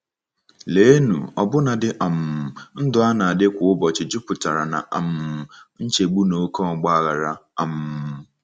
Leenụ, ọbụnadi um ndụ a na-adị kwa ụbọchị jupụtara ná um nchegbu na oké ọgba aghara! um